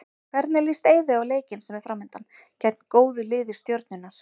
Hvernig líst Eiði á leikinn sem er framundan, gegn góðu lið Stjörnunnar?